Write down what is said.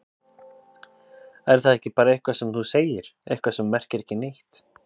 Er það ekki bara eitthvað sem þú segir, eitthvað sem merkir ekki neitt?